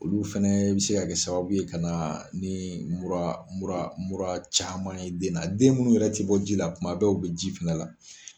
Olu fɛnɛ bɛ se ka kɛ sababuye ka na ni mura mura mura caman ye den na, den munnu yɛrɛ tɛ bɔ ji la, kuma bɛɛ u bɛ ji fɛnɛ na.